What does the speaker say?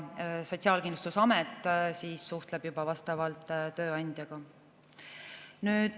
Tööandjaga suhtleb juba vastavalt Sotsiaalkindlustusamet.